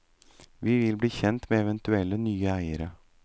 Vi vil bli kjent med eventuelle nye eiere.